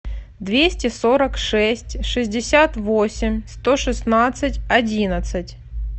двести сорок шесть шестьдесят восемь сто шестнадцать одиннадцать